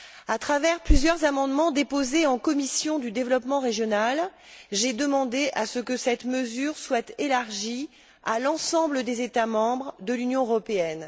À travers plusieurs amendements déposés en commission du développement régional, j'ai demandé que cette mesure soit élargie à l'ensemble des États membres de l'Union européenne.